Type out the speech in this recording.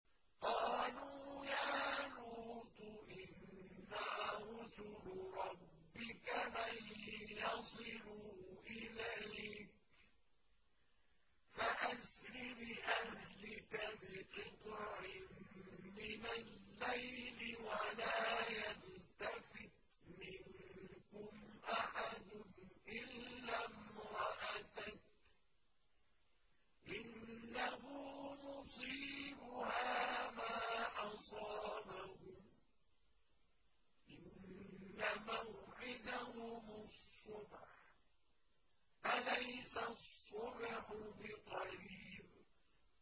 قَالُوا يَا لُوطُ إِنَّا رُسُلُ رَبِّكَ لَن يَصِلُوا إِلَيْكَ ۖ فَأَسْرِ بِأَهْلِكَ بِقِطْعٍ مِّنَ اللَّيْلِ وَلَا يَلْتَفِتْ مِنكُمْ أَحَدٌ إِلَّا امْرَأَتَكَ ۖ إِنَّهُ مُصِيبُهَا مَا أَصَابَهُمْ ۚ إِنَّ مَوْعِدَهُمُ الصُّبْحُ ۚ أَلَيْسَ الصُّبْحُ بِقَرِيبٍ